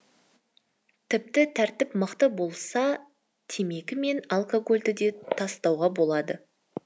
тіпті тәртіп мықты болса темекі мен алкогольді де тастауға болады